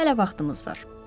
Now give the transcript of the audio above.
Hələ vaxtımız var.